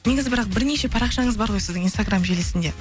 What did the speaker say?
негізі бірақ бірнеше парақшаңыз бар ғой сіздің инстаграмм желісінде